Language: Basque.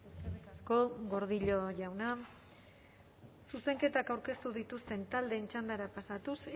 eskerrik asko gordillo jauna zuzenketak aurkeztu dituzten taldeen txandara pasatuz